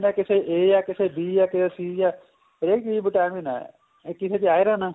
ਕਿਸੇ ਚ A ਹੈ ਕਿਸੇ ਚ B ਏ ਕਿਸੇ ਚ C ਏ ਹਰੇਕ ਚੀਜ ਚ vitamin ਹੈ ਤੇ ਕਿਸੇ ਚ iron ਹੈ